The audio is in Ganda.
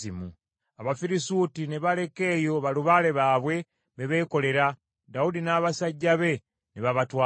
Abafirisuuti ne baleka eyo balubaale baabwe be beekolera, Dawudi n’abasajja be ne babatwala.